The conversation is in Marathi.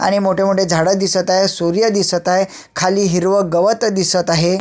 आणि मोठे मोठे झाड दिसत आहे सूर्य दिसत आहे खाली हिरव गवत दिसत आहे.